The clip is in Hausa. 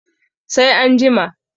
sai an jima